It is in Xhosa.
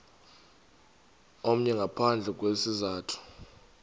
omnye ngaphandle kwesizathu